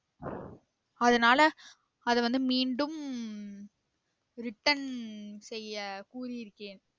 அதுனால அத வந்து மீண்டும் return செய்ய கூறியிருக்கிறேன்